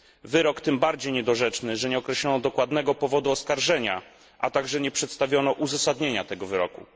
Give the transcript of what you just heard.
Wyrok tym bardziej niedorzeczny, że nie określono dokładnego powodu oskarżenia, a także nie przedstawiono uzasadnienia tego wyroku.